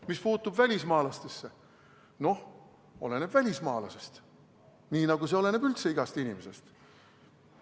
Mis puutub välismaalastesse, siis oleneb välismaalasest, nii nagu see oleneb üldse igast inimesest.